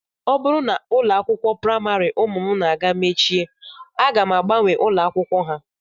Ọ bụrụ na ụlọ akwụkwọ praịmarị ụmụ m na-aga mechie aga m agbanwe ụlọakwụkwọ ha